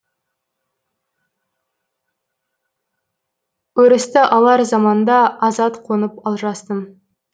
өрісті алар заманда азат қонып алжастым